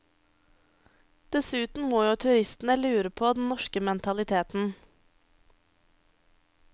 Dessuten må jo turistene lure på den norske mentaliteten.